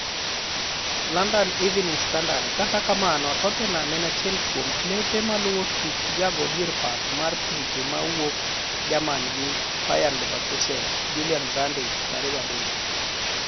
(London Evening Standard) Kata kamano Tottenham en achiel kuom klepe maluwo tuk jago dier pap mar pinje mawuok Jermani gi Bayer Leverkusen Julian Brandt, 23.